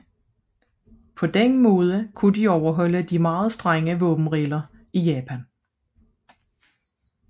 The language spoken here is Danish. På denne måde kunne det overholde de meget strenge våbenregler i Japan